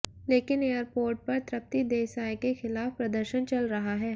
लेकिन एयरपोर्ट पर तृप्ति देसाई के ख़िलाफ़ प्रदर्शन चल रहा है